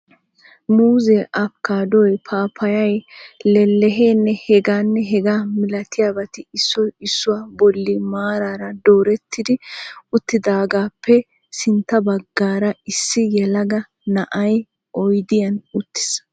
Muuzze, apikaaddoy, paapayay, lelehenne hegaanne hegaa malatiyabati issoy issuwaa bolli maraara dooretti uttidaagaappe sintta baggaara issi yelaga na"ay oydiyaan uttis.